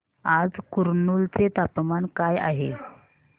आज कुरनूल चे तापमान काय आहे